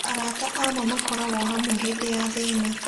Arata a ma makoragwo hamwe hĩndĩ ya thĩna.